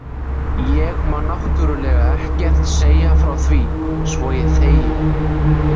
Ég má náttúrlega ekkert segja frá því, svo ég þegi.